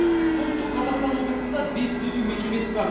солтүстік қазақстан облысында бес түзету мекемесі бар